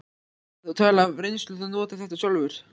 Erla: Þú talar af reynslu, þú notar þetta sjálfur?